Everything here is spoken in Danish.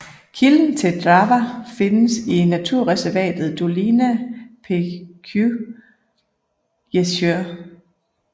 Kilden til Drawa findes i naturreservatet Dolina Pięciu Jezior